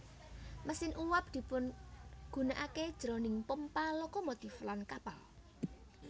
Mesin uwab dipigunakaké jroning pompa lokomotif lan kapal